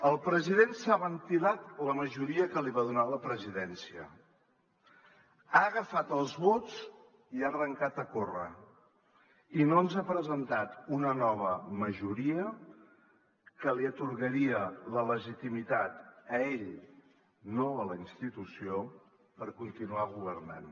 el president s’ha ventilat la majoria que li va donar la presidència ha agafat els vots i ha arrencat a córrer i no ens ha presentat una nova majoria que li atorgaria la legitimitat a ell no a la institució per continuar governant